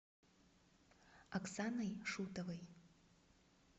оксаной шутовой